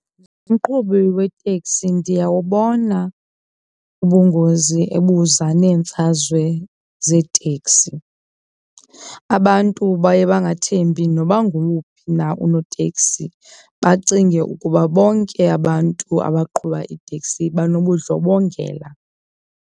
Umqhubi wetekisi ndiyawubona ubungozi ebuza neemfazwe zeeteksi. Abantu baye bangathembi noba ngowuphi na unoteksi, bacinge ukuba bonke abantu abaqhuba iiteksi banobundlobongela.